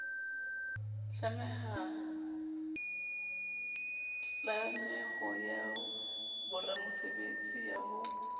tlameho ya boramosebetsi ya ho